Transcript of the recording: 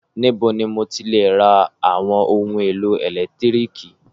Níbo ni mo ti le ra àwọn ohun-èlò ẹ̀lẹ́tíríkì?